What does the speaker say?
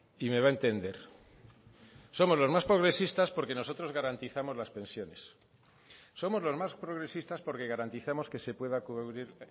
y me va a entender somos los más progresistas porque nosotros garantizamos las pensiones somos los más progresistas porque garantizamos que se pueda cubrir